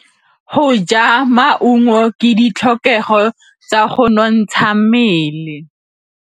Go ja maungo ke ditlhokegô tsa go nontsha mmele.